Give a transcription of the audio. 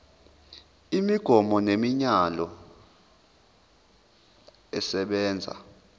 imigomo nemiyalelo esebenza